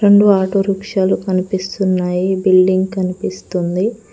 రెండు ఆటో రిక్షాలు కనిపిస్తున్నాయి బిల్డింగ్ కనిపిస్తుంది.